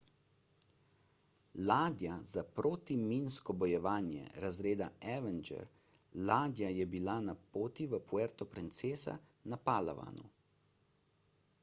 ladja za protiminsko bojevanje razreda avenger ladja je bila na poti v puerto princesa na palawanu